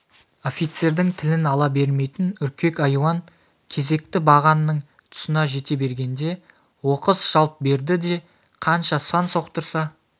офицердің тілін ала бермейтін үркек айуан кезекті бағанның тұсына жете бергенде оқыс жалт берді де қанша сақ отырса